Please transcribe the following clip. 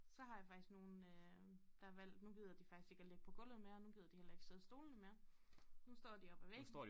Så har jeg faktisk nogle øh der har valg nu gider de faktisk ikke at ligge på gulvet mere nu gider de heller ikke sidde i stolene mere nu står de op af væggen